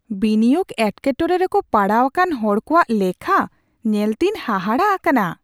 ᱵᱤᱱᱤᱭᱳᱜᱽ ᱮᱴᱠᱮᱴᱚᱬᱮ ᱨᱮᱠᱚ ᱯᱟᱲᱟᱣ ᱟᱠᱟᱱ ᱦᱚᱲ ᱠᱚᱣᱟᱜ ᱞᱮᱠᱷᱟ ᱧᱮᱞᱛᱮᱧ ᱦᱟᱦᱟᱲᱟᱜ ᱟᱠᱟᱱᱟ ᱾